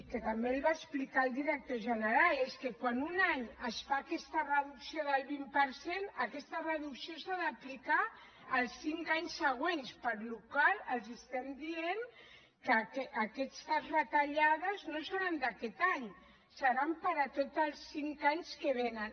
que també el va explicar el director general és que quan un any es fa aquesta reducció del vint per cent aquesta reducció s’ha d’aplicar els cinc anys següents per la qual cosa els estem dient que aquestes retallades no seran d’aquest any seran per a tots el cinc anys que vénen